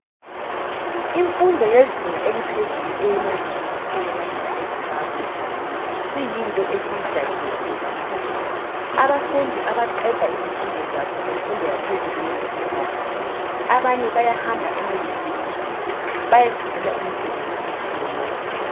Imfundo eyezinga eliphezulu emayunivesithi kwelakithi eZimbabwe isiyinto esijayelilekile kakhulu, abafundi abaqede izifundo zamfundo yaphezulu esecondary abanye bayahamba emayunivesithi beyefundela imisebenzi etshiyeneyo.